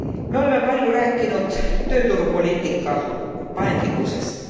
Me oleme palju rääkinud tööturupoliitika paindlikkusest.